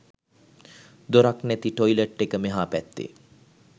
දොරක් නැති ටොයිලට් එක මෙහා පැත්තේ